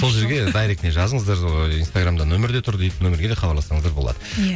сол жерге дайректіне жазыңыздар ыыы инстаграмда нөмір де тұр дейді нөмірге де хабарлассаңыздар болады иә